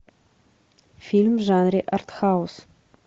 фильм в жанре артхаус